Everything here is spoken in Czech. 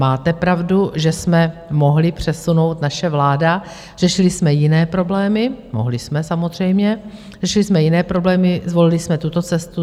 Máte pravdu, že jsme mohli přesunout, naše vláda - řešili jsme jiné problémy, mohli jsme samozřejmě, řešili jsme jiné problémy, zvolili jsme tuto cestu.